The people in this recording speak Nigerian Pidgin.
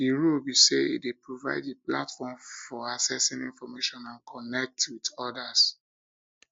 di role be say e dey provide di platform for accessing information and connect with odas